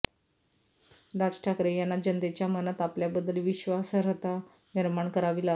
राज ठाकरे यांना जनतेच्या मनात आपल्याबद्दल विश्वासार्हता निर्माण करावी लागेल